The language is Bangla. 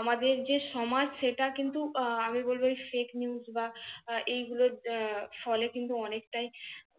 আমাদের যে সমাজ সেটা কিন্তু আমি বলব FAKENEWS বা এইগুলোর ফলে কিন্তু অনেকটাই